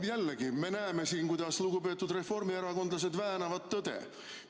Jälle me näeme siin, kuidas lugupeetud reformierakondlased väänavad tõde.